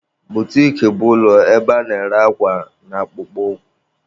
Butiki bụ ụlọ ebe a na-ere akwa na akpụkpọ ụkwụ.